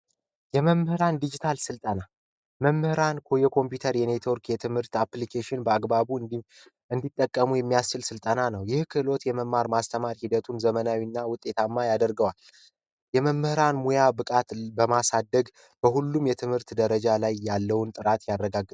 የመምህራን ዲጂታል ስልጠና መምህራን የኮምፒውተር የኔትወርክ የትምህርት አፕልኬሽን በአግባቡ እንዲጠቀሙ የሚያስል ስልጠና ነው ይህ ክህሎት የመማር ማስተማር ሂደቱን ዘመናዊና ውጤታማ ያደርገዋል። የመምህራን ሙያ ብቃት በማሳደግ በሁሉም የትምህርት ደረጃ ላይ ያለውን ጥራት ያረጋግጣል